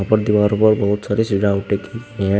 और दीवारों पर बहुत सारी सजावटे की गई है।